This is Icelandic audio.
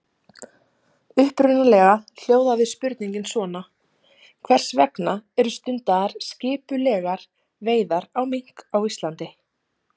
Upprunalega hljóðaði spurningin svona: Hvers vegna eru stundaðar skipulegar veiðar á mink á Íslandi?